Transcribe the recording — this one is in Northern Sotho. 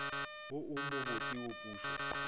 wo o mobotse wa pušo